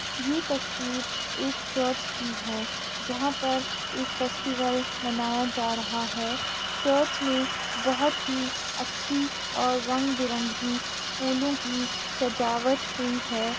ये तस्वीर एक चच की है जहां पर एक फेस्टिवल मनाया जा रहा है। चच में बोहोत ही अच्छी और रंग-बिरंगी फूलों की सजावट हुई है।